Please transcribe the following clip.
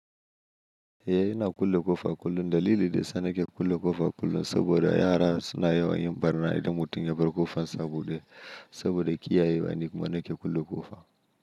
Eh ina kulle ƙofa kullum. Dalili da yasa nake ke kulle ƙofa kullum saboda yara suna yawan yin ɓarna idan mutum ya bar ƙofan sa abude saboda kiyayewa nikuma nake kulle ƙofa.